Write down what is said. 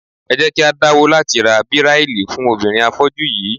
Ẹ jẹ́ kí á dáwọ́ láti ra Bíráílì fún obìnrin afọ́jú yí í.